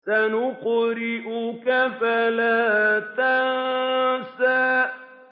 سَنُقْرِئُكَ فَلَا تَنسَىٰ